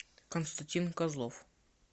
константин козлов